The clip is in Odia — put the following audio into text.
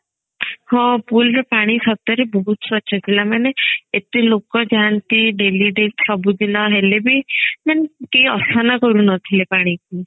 ହଁ pool ରେ ପାଣି ସତରେ ବହୁତ ସ୍ବଚ୍ଛ ଥିଲା ମାନେ ଏତେ ଲୋକ ଯାନ୍ତି daily daily ସବୁଦିନ ନହେଲେ ବି ମାନେ କେହି ଅସନା କରୁନଥିଲେ ପାଣିକୁ